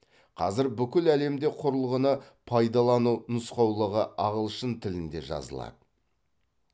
қазір бүкіл әлемде құрылғыны пайдалану нұсқаулығы ағылшын тілінде жазылады